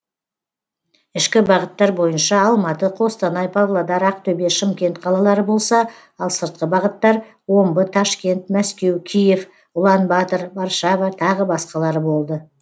ішкі бағыттар бойынша алматы қостанай павлодар актөбе шымкент қалалары болса ал сыртқы бағыттар омбы ташкент мәскеу киев ұлан батыр варшава тағы басқалары болды